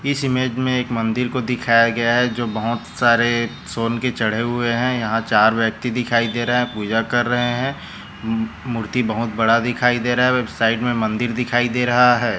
इस इमेज में एक मंदिर को दिखाया गया है जो बहुत सरे सोन के चढ़े हैं यहाँ चार व्यक्ति दिखाई दे रहे है पूजा कर रहे हैं मू मूर्ती बहुत बड़ा दिखाई दे रहा हैं साइड में मंदिर दिखाई दे रहा हैं।